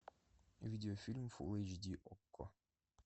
видео фильм фул эйч ди окко